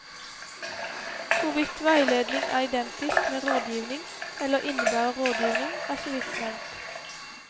Hvorvidt veiledning er identisk med rådgivning eller innebærer rådgivning, er så vidt nevnt.